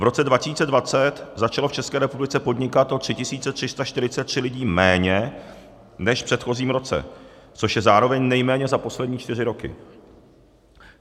V roce 2020 začalo v České republice podnikat o 3 343 lidí méně než v předchozím roce, což je zároveň nejméně za poslední čtyři roky.